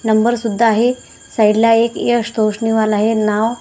number सुद्धा आहे side ला एक यश तोषणीवाला हे नाव --